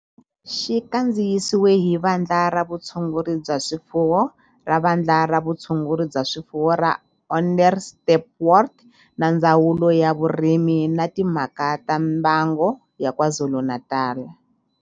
Xi kandziyisiwe hi Vandla ra Vutshunguri bya swifuwo ra Vandla ra Vutshunguri bya swifuwo ra Onderstepoort na Ndzawulo ya Vurimi na Timhaka ta Mbango ya KwaZulu-Natal.